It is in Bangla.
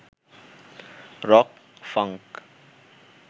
rock, funk